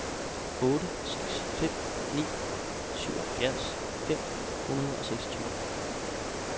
otte seks fem ni syvoghalvfjerds fem hundrede og seksogtyve